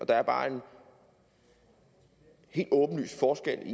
der er bare en helt åbenlys forskel